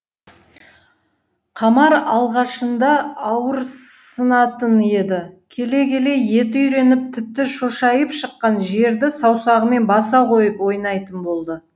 қамар алғашында ауырсынатын еді келе келе еті үйреніп тіпті шошайып шыққан жерді саусағымен баса қойып ойнайтын болды